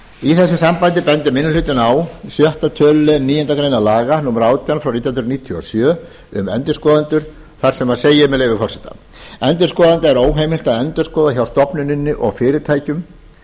í þessu sambandi bendir minni hlutinn á sjötta tölulið níundu grein laga númer átján nítján hundruð níutíu og sjö um endurskoðendur en þar segir endurskoðanda er óheimilt að endurskoða hjá stofnunum og fyrirtækjum